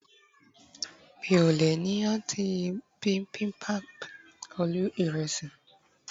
mi o le ni anıtı bimbimbap ölü iresi